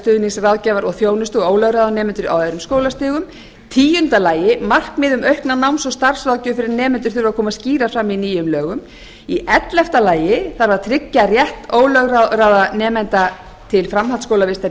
stuðnings ráðgjafar og þjónustu og ólögráða nemendur á öðrum skólastigum tíu markmið um aukna náms og starfsráðgjöf fyrir nemendur þurfa að koma skýrar fram í nýjum lögum ellefu tryggja þarf rétt ólögráða nemenda til framhaldsskólavistar í